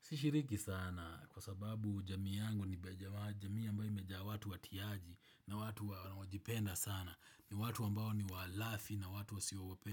Sishiriki sana kwa sababu jamii yangu ni jamii ambayo imejaa watu watiaji na watu wanaojipenda sana. Ni watu ambao ni walafi na watu